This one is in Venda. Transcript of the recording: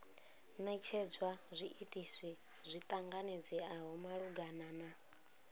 netshedzwa zwiitisi zwi ṱanganedzeaho malugana